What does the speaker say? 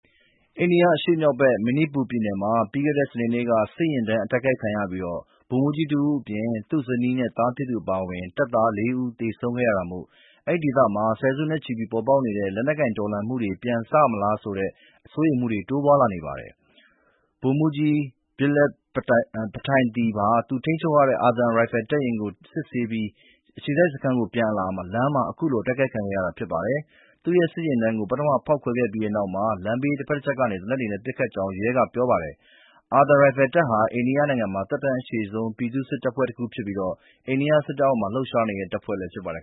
အိန္ဒိယအရှေ့မြောက်ဘက် မဏိပူရပြည်နယ်မှာ ပြီးခဲ့တဲ့ စနေနေ့က စစ်ယာဉ်တန်း အတိုက်ခံရပြီး ဗိုလ်မှူးကြီးတဦးအပြင် သူ့ဇနီးနဲ့ သားဖြစ်သူ အပါအဝင် တပ်သား ၄ ဦး သေဆုံးခဲ့ရတာမို့ အဲဒီဒေသမှာ ဆယ်စုနှစ်တွေနဲ့ချီ ဖြစ်ပေါ်နေတဲ့ လက်နက်ကိုင် တော်လှန်မှုတွေ ပြန်စလာမလားဆိုတဲ့ စိုးရိမ်မှုတွေ တိုးပွားလာနေပါတယ်။ ဗိုလ်မှူးကြီး Viplav Tripathi ဟာ သူထိန်းချုပ်ရတဲ့ အာသံရိုင်ဖယ်တပ် တတပ်ကို စစ်ဆေးပြီး အခြေစိုက်စခန်းကို ပြန်အလာ လမ်းမှာ အခုလို အတိုက်ခိုက်ခံခဲ့ရတာပါ။ သူ့စစ်ယာဉ်တန်းကို ပထမ ဖောက်ခွဲခဲ့ပြီးနောက်မှ လမ်းဘေးတဖက်တချက်ကနေ သေနတ်တွေနဲ့ ပစ်ခတ်တာဖြစ်ကြောင်း ရဲက ပြောပါတယ်။ အာသံရိုင်ဖယ်တပ်ဟာ အိန္ဒိယနိုင်ငံမှာ သက်တမ်းအရှည်ဆုံး ပြည်သူ့စစ်တပ်ဖွဲ့တခုဖြစ်ပြီး အိန္ဒိယစစ်တပ်အောက်မှာ လှုပ်ရှားနေတဲ့ တပ်ဖွဲ့လည်း ဖြစ်ပါတယ်